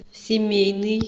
семейный